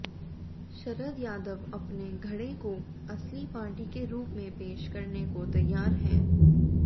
शरद यादव अपने धड़े को असली पार्टी के रूप में पेश करने को तैयार हैं